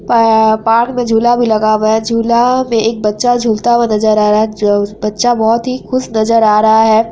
अ park में झूला भी लगा हुआ है| झूला में एक बच्चा झूलता हुआ नजर आ रहा है जो बच्चा बोहत ही खुश नजर आ रहा है।